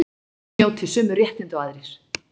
Félagsmenn njóti sömu réttinda og aðrir